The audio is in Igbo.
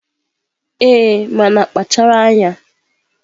Ee, mana kpachara anya.